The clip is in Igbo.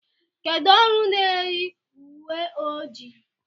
Kedụ ọrụ n'eyi uwe ojii?